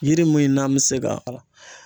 Yiri min n'an be se ka